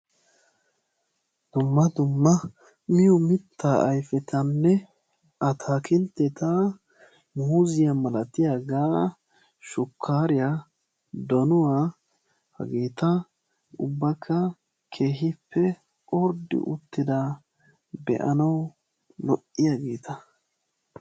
Dumma dumma miyoo mittaa ayfettanne ataakilitetta muuziyaa malatiyaagaa shukkaariyaa donuwaa haageta ubbakka keehippe orddi uttidaa be'anawu lo"iyaageta.